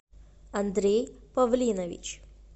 андрей павлинович